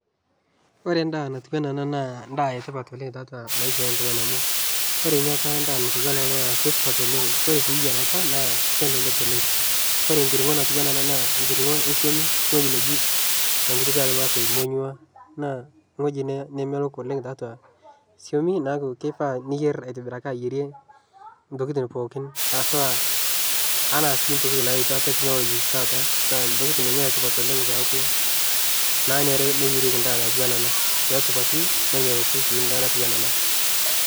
Ore endaa natiu anaa ena naa ndaa etipat oleng' tatua maisha eltung'ani amu ore ninye apa endaa natiu anaa ena naa keisupat oleng. Kore sii yierata naa kelelek oleng'. Ore enkiring'o natiu anaa ena naa nkiring'o e suami wuei neji tenkutuk olmasai emonyua naa wueji nee nemelok oleng' tiatua suami neaku keifaa niyierr aitibiraki ayierie intokitin pookin haswaa anaa sii ntokitin naitua teknoloji tata naa ntokitin ninye etipat oleng' peaku naanyare neyerieki ndaa natiu anaa ena peesupatu nemeloku sii ndaa natiu anaa ena.